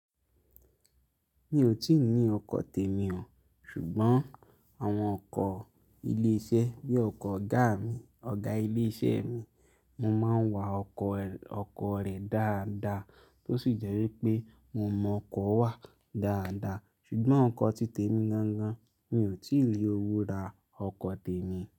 Mi ò tíì ní ọkọ̀ tèmi o, ṣùgbọ́n àwọn ọkọ̀ ilé iṣẹ́ bí ọkọ̀ ọ̀gá mi, ọ̀gá ilé iṣẹ́ mi, mo máa ń wa ọkọ̀, ọkọ̀ rẹ̀ dáadáa tó sì jẹ́ wípé mo mọ ọkọ̀ wà dáadáa. Ṣùgbọ́n ọkọ̀ ti tèmi gan gan, mi ò tíì rí owó ra ọkọ̀ tèmi.